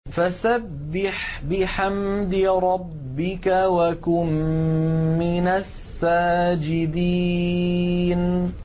فَسَبِّحْ بِحَمْدِ رَبِّكَ وَكُن مِّنَ السَّاجِدِينَ